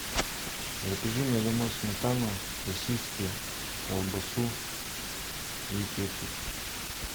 закажи мне домой сметану сосиски колбасу и кетчуп